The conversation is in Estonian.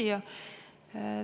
Hea küsija!